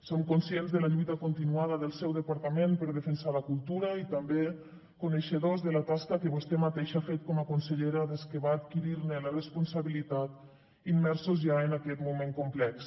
som conscients de la lluita continuada del seu departament per defensar la cultura i també coneixedors de la tasca que vostè mateixa ha fet com a consellera des que va adquirir ne la responsabilitat immersos ja en aquest moment complex